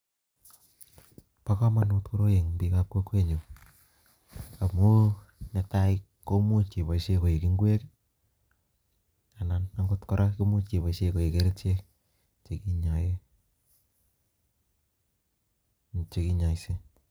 Bo komonut koroi en bikab kokwenyun amun netai komuch iboishie ko ik ingwek I,anan akot kora imuch keboishien koik kerichek Che kinyoengee anan ko chekinyoiseen